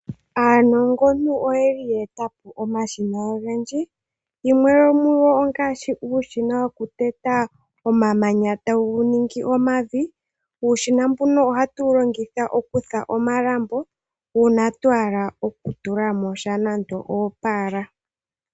Aanongontu oyeli ye eta po omashina ogendji, yimwe yomugo ngaashi uushina woku teta po omamanya taye ga ningi omavi, uushina mbuno ohatu wu longitha oku fula omalambo, uuna twa hala oku tula mo sha nande oopaala.